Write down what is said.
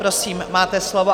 Prosím, máte slovo.